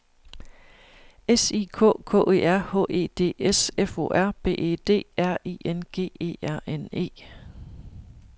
S I K K E R H E D S F O R B E D R I N G E R N E